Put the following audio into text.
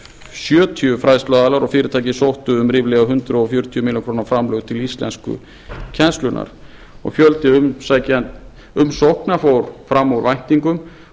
sjötíu fræðsluaðilar og fyrirtæki sóttu um ríflega hundrað fjörutíu milljónir króna framlag til íslenskukennslunnar og fjöldi umsókna fór fram úr væntingum